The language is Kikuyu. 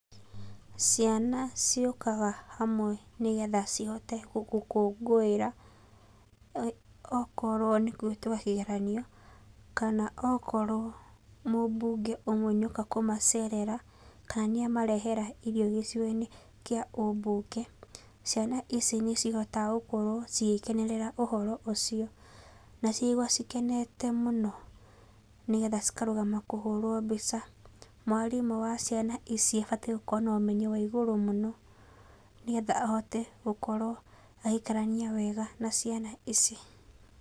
Ciana ciũkaga hamwe nĩgetha cihote gũgũkũngũĩra, okorwo nĩ kũhetũka kĩgeranio, kana okorwo mũbunge ũmwe nĩoka kũmacerera, kana nĩamarehera irio gũcigoinĩ kĩa ũbunge, ciana ici nĩcihotaga gũkorwo cigĩkenerera ũhoro ũcio naciagwa cikenete mũno, nĩgetha cikarũgama kũhũrwo mbica. Mwarimũ wa ciana ici abatiĩ gũkorwo na ũmenyo wa igũrũ mũno nĩgetha ahote gũkorwo agĩikarania wega na ciana ici.